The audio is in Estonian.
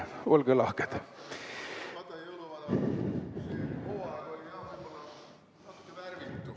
Olge lahked!